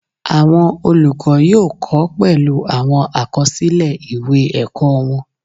Awọn olukọ yóò kọ pẹlu awọn akọsilẹ ìwé ẹkọ wọn